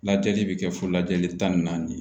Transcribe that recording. Lajɛli bɛ kɛ fo lajɛli tan ni naani